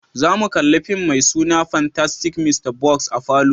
Zamu kalla fim mai suna "Fantastic Mr. Fox "a'falo.